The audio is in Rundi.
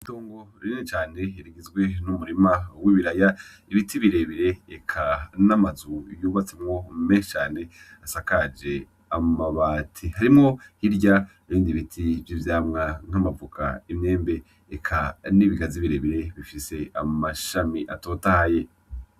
Itongo rinini cane rigizwe n'umurima w'ibiraya, ibiti birebire, eka n'amazu yubatsemwo menshi cane, asakaje amabati. Harimwo hirya, ibindi biti vy'ivyamwa nk'amavoka, imyembe, eka n'ibigazi birebire, bifise amashami atotahaye.